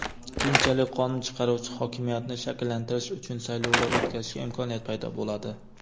Keyinchalik qonun chiqaruvchi hokimiyatni shakllantirish uchun saylovlar o‘tkazishga imkoniyat paydo bo‘ladi.